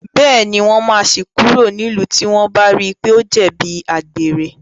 Bẹ́ẹ̀ní, wọ́n máa ṣí i kúrò nílùú tí wọ́n bá rí i pé ó jẹ̀bi àgbèrè.